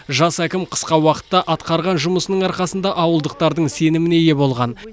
жас әкім қысқа уақытта атқарған жұмысының арқасында ауылдықтардың сеніміне ие болған